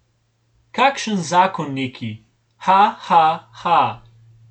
Kakšen zakon, neki, ha, ha, ha!